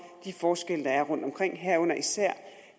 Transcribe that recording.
de forskelle der er rundtomkring herunder især